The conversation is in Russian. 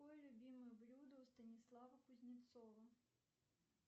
какое любимое блюдо у станислава кузнецова